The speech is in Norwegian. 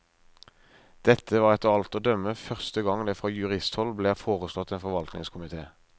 Dette var etter alt å dømme første gang det fra juristhold ble foreslått en forvaltningskomite.